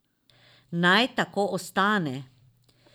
Naj tako ostane!